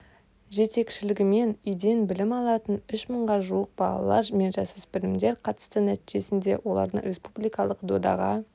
жетекшілігімен үйден білім алатын үш мыңға жуық балалар мен жасөспірімдер қатысты нәтижесінде олардың республикалық додаға